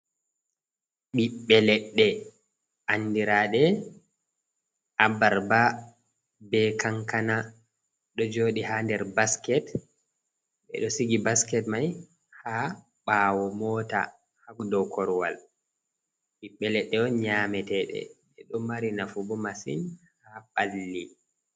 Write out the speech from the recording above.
Ɓiɓbe leɗɗe andiraɗe abarba, be kankana, ɗo joɗi ha nder basket, ɓe ɗo sigi basket mai ha ɓawo mota ha dou korwal, ɓiɓbe leɗɗe on nyamete ɗe ɓe ɗo mari nafu bo massin ha ɓalli.